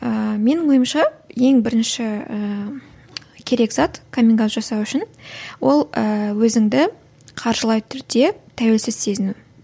ыыы менің ойымша ең бірінші ііі керек зат каминг аут жасау үшін ол ы өзіңді қаржылай түрде тәуелсіз сезіну